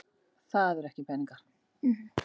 Nei börnin mín, það voru ekki peningar.